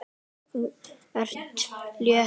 Þú ert létt!